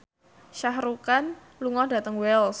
Shah Rukh Khan lunga dhateng Wells